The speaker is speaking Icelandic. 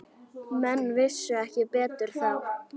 Menn vissu ekki betur þá.